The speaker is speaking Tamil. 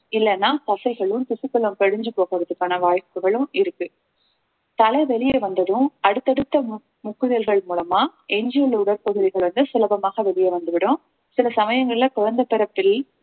இல்லைன்னா தசைகளும் திசுக்களும் படிஞ்சு போகுறதுக்கான வாய்ப்புகளும் இருக்கு தலை வெளிய வந்ததும் அடுத்தடுத்த முக்~ முக்குதல்கள் மூலமா எஞ்சியுள்ள உடற்பகுதிகள் வந்து சுலபமாக வெளியே வந்துவிடும் சில சமயங்கள்ல குழந்தை பிறப்பில்